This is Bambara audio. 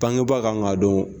Bangebaa kan k'a dɔn